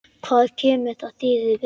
Hvað kemur það þér við?